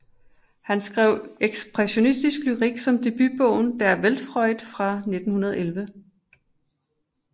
Han skrev ekspressionistisk lyrik som debutbogen Der Weltfreund fra 1911